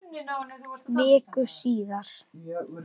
Viku síðar.